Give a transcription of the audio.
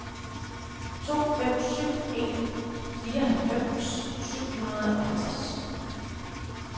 to fem syv en fireoghalvfems syv hundrede og halvtreds